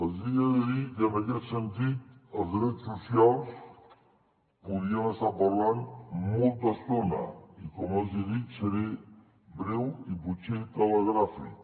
els he de dir que en aquest sentit dels drets socials podríem estar parlant molta estona i com els he dit seré breu i potser telegràfic